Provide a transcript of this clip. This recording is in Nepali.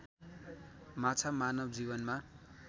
माछा मानव जीवनमा